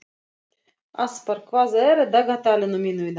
Aspar, hvað er á dagatalinu mínu í dag?